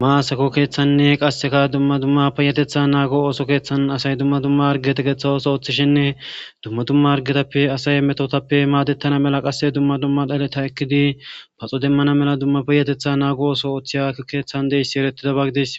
maasako keeththanne qasseka dumma dumma peyetetha naago ooso keeththan asay dumma dumma hargetegeththa ooso ooththishinne dumma dumma argetappe asay metotappe maadettana mela qasse dumma dumma dhaleta ekkidi paxo demmana mela dummappeyetetha naago oso ooththiya keeththan deissi erettida baggides